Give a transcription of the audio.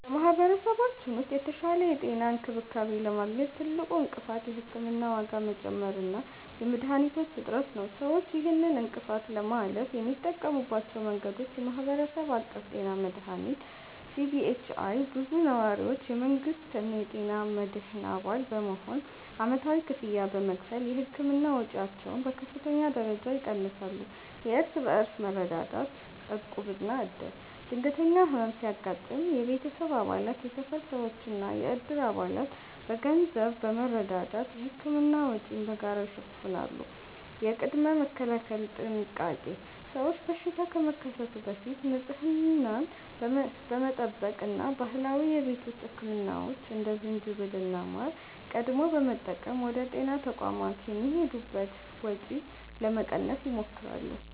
በማኅበረሰባችን ውስጥ የተሻለ የጤና እንክብካቤ ለማግኘት ትልቁ እንቅፋት የሕክምና ዋጋ መጨመር እና የመድኃኒቶች እጥረት ነው። ሰዎች ይህንን እንቅፋት ለማለፍ የሚጠቀሙባቸው መንገዶች፦ የማኅበረሰብ አቀፍ ጤና መድህን (CBHI)፦ ብዙ ነዋሪዎች የመንግሥትን የጤና መድህን አባል በመሆን ዓመታዊ ክፍያ በመክፈል የሕክምና ወጪያቸውን በከፍተኛ ደረጃ ይቀንሳሉ። የእርስ በርስ መረዳዳት (ዕቁብና ዕድር)፦ ድንገተኛ ሕመም ሲያጋጥም የቤተሰብ አባላት፣ የሰፈር ሰዎችና የዕድር አባላት በገንዘብ በመረዳዳት የሕክምና ወጪን በጋራ ይሸፍናሉ። የቅድመ-መከላከል ጥንቃቄ፦ ሰዎች በሽታ ከመከሰቱ በፊት ንጽህናን በመጠበቅ እና ባህላዊ የቤት ውስጥ ሕክምናዎችን (እንደ ዝንጅብልና ማር) ቀድመው በመጠቀም ወደ ጤና ተቋማት የሚሄዱበትን ወጪ ለመቀነስ ይሞክራሉ።